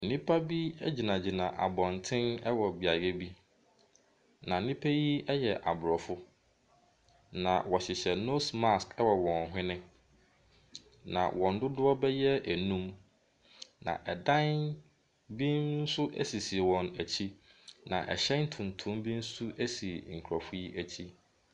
Nnipa be egyinagyina abɔnten ɛwɔ beaeɛ bi na nnipa yi ɛyɛ abrɔfo na wɔhyehyɛ nose mask wɔ wɔn hwɛne. Na wɔn dodoɔ bɛ yɛ enum na ɛdan bi nso esisi wɔn akyi na ɛhyɛn tuntum bi nso esi nkorɔfoɔ yi akyi.